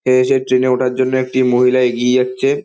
এ সে ট্রেন -এ ওঠার জন্য একটি মহিলা এগিয়ে যাচ্ছে ।